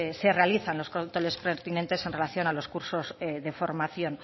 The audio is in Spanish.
se realizan los controles pertinentes en relación a los cursos de formación